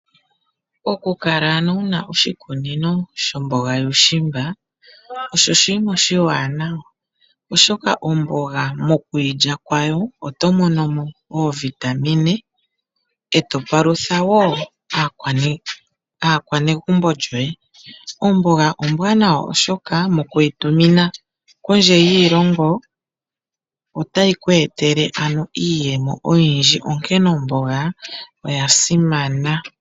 Okukala wuna oshikunino shomboga yuushimba osho oshinima oshiwanawa, oshoka omboga mokuyi lya kwawo oto mono mo oovitamine e to palutha woo aakwanegumbo yoye. Omboga ombwanawa oshoka moku yi tumina kondje yiilongo ota yi ku etele iiyemo oyindji, onkene omboga oya simana.